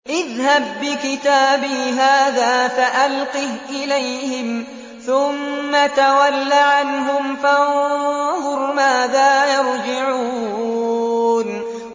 اذْهَب بِّكِتَابِي هَٰذَا فَأَلْقِهْ إِلَيْهِمْ ثُمَّ تَوَلَّ عَنْهُمْ فَانظُرْ مَاذَا يَرْجِعُونَ